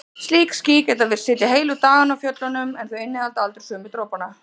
Slík ský geta virst sitja heilu dagana á fjöllunum en þau innihalda aldrei sömu dropana.